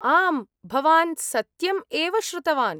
आम्, भवान् सत्यम् एव श्रुतवान्।